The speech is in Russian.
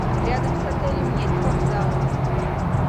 рядом с отелем есть вокзалы